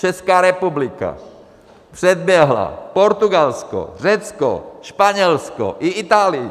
Česká republika předběhla Portugalsko, Řecko, Španělsko i Itálii.